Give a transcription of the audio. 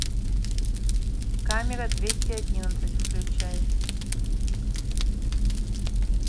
камера двести одиннадцать включай